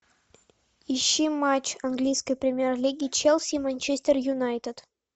ищи матч английской премьер лиги челси и манчестер юнайтед